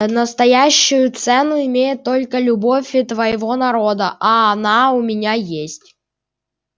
настоящую цену имеет только любовь твоего народа а она у меня есть